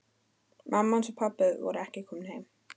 Mamma hans og pabbi voru ekki komin heim.